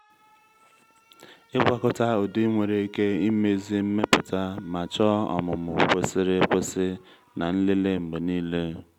ịgwakọta ụdị nwere ike imezi mmepụta ma chọọ ọmụmụ kwesịrị ekwesị na nlele mgbe niile